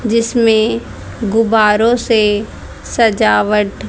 जिसमें गुब्बारों से सजावट--